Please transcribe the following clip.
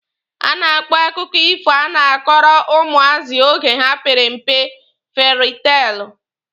A na-akpọ akụkọ ifo a na-akọrọ ụmụazị oge ha pere mpe fieri teelụ.